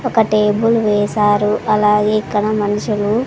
ఒక టేబుల్ వేశారు అలాగే ఇక్కడ మనుషులు--